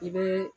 I bɛ